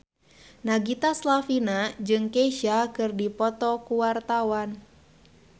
Nagita Slavina jeung Kesha keur dipoto ku wartawan